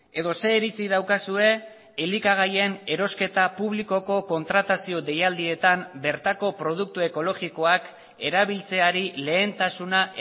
edo zein iritzi daukazue elikagaien erosketa publikoko kontratazio deialdietan bertako produktu ekologikoak erabiltzeari lehentasuna